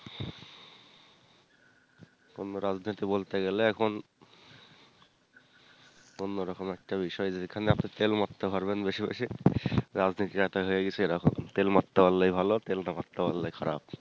কোনও রাজনীতি বলতে গেলে এখন অন্যরকম একটা বিষয় যেখানে আপনি তেল মারতে পারবেন বেশি বেশি রাজনীতিটা হয়ে গেছে এরকম তেল মারতে পারলে ই ভালো তেল না মারতে পারলে ই খারাপ